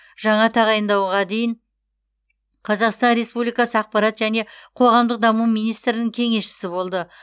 жаңа тағайындауға дейін қазақстан республикасы ақпарат және қоғамдық даму министрінің кеңесшісі болды